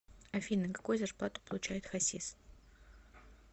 афина какую зарплату получает хасис